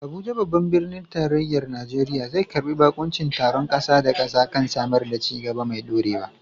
Abuja, babban birnin tarayyar Najeriya, zai karbi bakuncin taron kasa da kasa kan samar da ci gaba mai ɗorewa.